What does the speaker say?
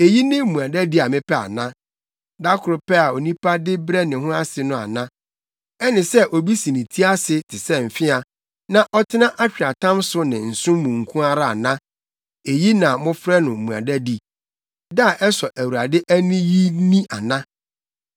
Eyi ne mmuadadi a mepɛ ana? Da koro pɛ a onipa de brɛ ne ho ase no ana? Ɛne sɛ obi si ne ti ase te sɛ mfea na ɔtena atweaatam so ne nsõ mu nko ara ana? Eyi na mofrɛ no mmuadadi, da a ɛsɔ Awurade ani yi ni ana?